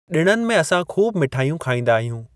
ॾिणनि में असां खूब मिठायूं खाईदा आहियूं।